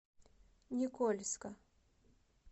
никольска